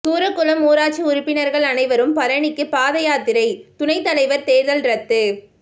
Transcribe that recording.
சூரக்குளம் ஊராட்சி உறுப்பினா்கள் அனைவரும் பழனிக்கு பாதயாத்திரை துணைத் தலைவா் தோ்தல் ரத்து